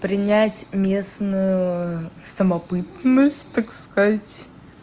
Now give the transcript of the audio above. принять местную самобытность так сказать